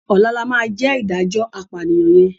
Ọ̀la ló máa jẹ́ ìdájọ́ apànìyàn yẹn